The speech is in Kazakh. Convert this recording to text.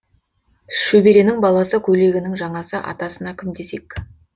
шөберенің баласы көйлегінің жаңасы атасына кім десек